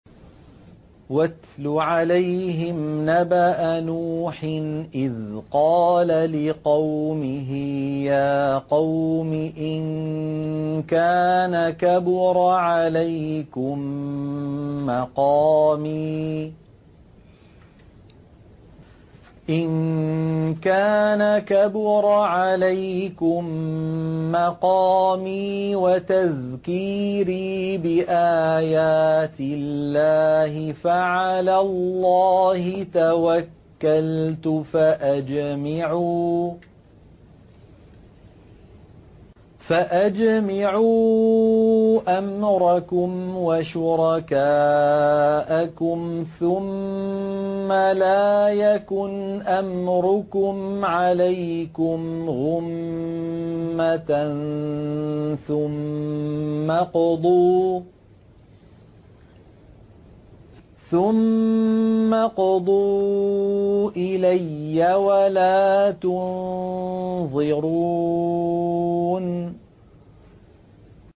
۞ وَاتْلُ عَلَيْهِمْ نَبَأَ نُوحٍ إِذْ قَالَ لِقَوْمِهِ يَا قَوْمِ إِن كَانَ كَبُرَ عَلَيْكُم مَّقَامِي وَتَذْكِيرِي بِآيَاتِ اللَّهِ فَعَلَى اللَّهِ تَوَكَّلْتُ فَأَجْمِعُوا أَمْرَكُمْ وَشُرَكَاءَكُمْ ثُمَّ لَا يَكُنْ أَمْرُكُمْ عَلَيْكُمْ غُمَّةً ثُمَّ اقْضُوا إِلَيَّ وَلَا تُنظِرُونِ